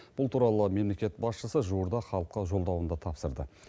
бұл туралы мемлекет басшысы жуырда халыққа жолдауында тапсырды